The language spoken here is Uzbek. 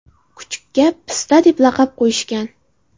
Kuchukka Pista deb laqab qo‘yishgan.